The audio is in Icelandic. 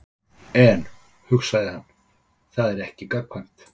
En, hugsaði hann, það er ekki gagnkvæmt.